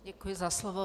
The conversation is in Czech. Děkuji za slovo.